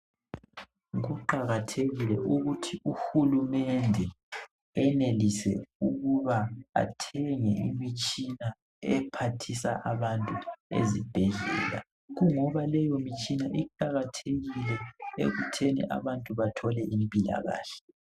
Kuqathekile ukuthi uhulumende enelise ukuba athenge imitshina ephathisa abantu ezibhedlela ngoba leyimitshina iqakathekile ekutheni abantu bathole impilakahle